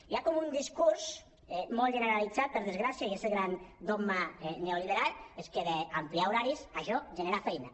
hi ha com un discurs molt generalitzat per desgràcia i és el gran dogma neoliberal és que d’ampliar ho·raris això genera feina